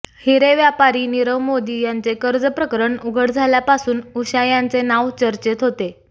हिरे व्यापारी नीरव मोदी यांचे कर्जप्रकरण उघड झाल्यापासून उषा यांचे नाव चर्चेत होते